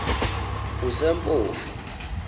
kusempofu